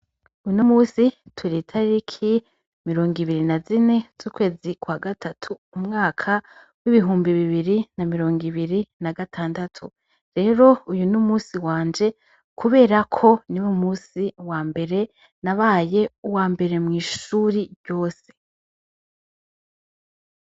Uno munsi turi tariki mirongobiri na zine zukwezi kwa gatatu umwaka w' ibihumbi bibiri na mirongobiri na gatandatu rero n' umunsi wanje kuberako niwo munsi wa mbere nabaye uwa mbere mwishuri ryose.